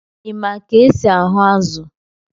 Ị ma ka e si aṅụ azụ̀?